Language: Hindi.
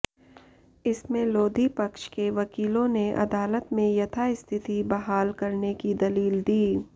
इसमें लोधी पक्ष के वकीलों ने अदालत में यथास्थिति बहाल करने की दलील दी